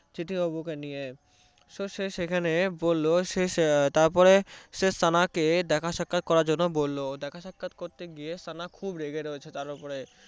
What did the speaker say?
চিঠ্যিবাবু কে নিয়ে তো সে সেখানে বললো তো সে সেখানে সানাকে দেখা সাক্ষাত করার জন্য বললো দেখা সাক্ষাত করতে গিয়ে সানা খুব রেগে রয়েছে